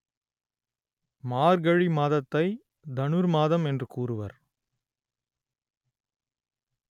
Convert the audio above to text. மார்கழி மாதத்தை தனுர் மாதம் என்று கூறுவர்